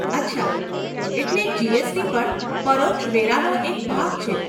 અચ્છા, એટલે જીએસટી પણ પરોક્ષ વેરાનો એક ભાગ છે.